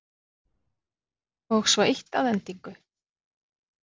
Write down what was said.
Og svo eitt að endingu.